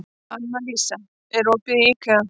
Annalísa, er opið í IKEA?